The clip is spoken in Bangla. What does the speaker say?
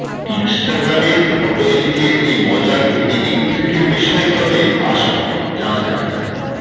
ইন্সটাগ্রামের ফটো এডিটের এই মজার এডিটিং ট্রিকের বিষয়ে তবে আসুন জানা যাক